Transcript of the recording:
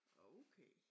Okay